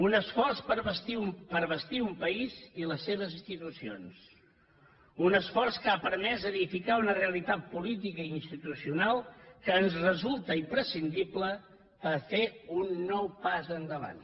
un esforç per a bastir un país i les seves institucions un esforç que ha permès edificar una realitat política i institucional que ens resulta imprescindible per a fer un nou pas endavant